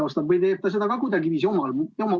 Kas ta teeb seda ka kuidagiviisi omal käel?